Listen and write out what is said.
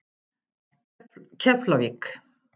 Keflavík